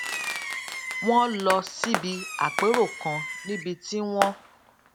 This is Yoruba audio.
wón lọ síbi àpérò kan níbi tí wón